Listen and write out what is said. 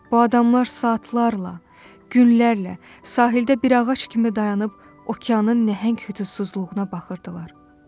Bu adamlar saatlarla, günlərlə sahildə bir ağac kimi dayanıb okeanın nəhəng hüzursuzluğuna baxırdılar.